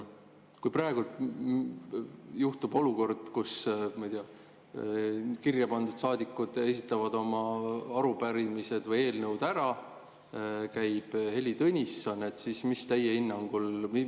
Kui praegu tekib olukord, kus, ma ei tea, kirjapandud saadikud esitavad oma arupärimised või eelnõud ära, siin käib ära ka Heili Tõnisson, siis mis teie hinnangul juhtub?